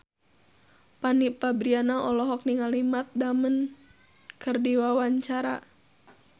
Fanny Fabriana olohok ningali Matt Damon keur diwawancara